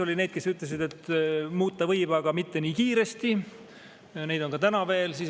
Oli neid, kes ütlesid, et muuta võib, aga mitte nii kiiresti – neid on ka täna.